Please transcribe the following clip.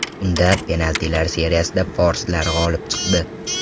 Unda penaltilar seriyasida forslar g‘olib chiqdi.